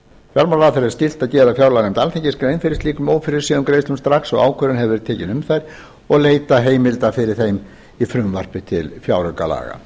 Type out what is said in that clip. fjármálaráðherra er skylt að gera fjárlaganefnd alþingis grein fyrir slíkum ófyrirséðum greiðslum strax og ákvörðun hefur verið tekin um þær og leita heimilda fyrir þeim með frumvarpi til fjáraukalaga